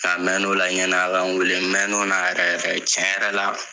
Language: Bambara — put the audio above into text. mɛn'o la ɲɛn'a ka n weele mɛn'o na yɛrɛ yɛrɛ tiɲɛ yɛrɛ la